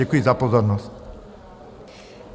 Děkuji za pozornost.